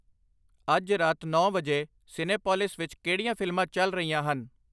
ਅੱਜ ਰਾਤ ਨੌਂ ਵਜੇ ਸਿਨੇਪੋਲਿਸ ਵਿਖੇ ਕਿਹੜੀਆਂ ਫ਼ਿਲਮਾਂ ਚੱਲ ਰਹੀਆਂ ਹਨ